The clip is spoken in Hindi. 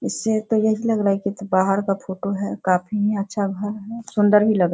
इससे तो यही लग रहा है की बाहर का फोटो है काफी अच्‍छा घर है सुन्‍दर भी लग --